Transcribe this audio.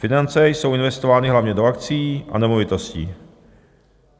Finance jsou investovány hlavně do akcií a nemovitostí.